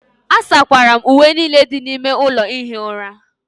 asakwara m uwe niile dị n'ime ime ụlọ ihi ụra